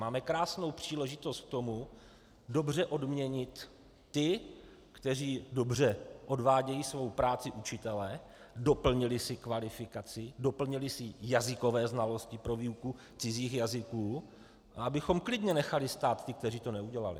Máme krásnou příležitost k tomu dobře odměnit ty, kteří dobře odvádějí svou práci učitele, doplnili si kvalifikaci, doplnili si jazykové znalosti pro výuku cizích jazyků, a abychom klidně nechali stát ty, kteří to neudělali.